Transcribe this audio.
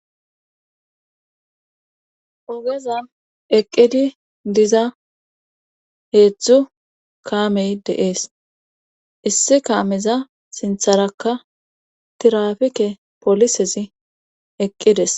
ogezan eqqidi diza heedzdzu kaamey deees issi kaameza sintharakka tirafike polisezi eqqides